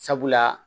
Sabula